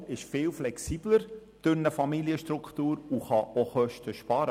Der Kanton ist mit Familienstrukturen viel flexibler und kann auch Kosten sparen.